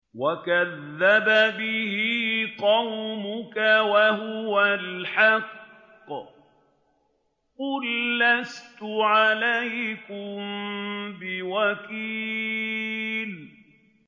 وَكَذَّبَ بِهِ قَوْمُكَ وَهُوَ الْحَقُّ ۚ قُل لَّسْتُ عَلَيْكُم بِوَكِيلٍ